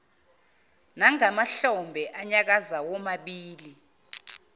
nangamahlombe anyakaza womabili